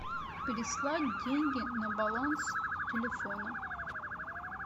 переслать деньги на баланс телефона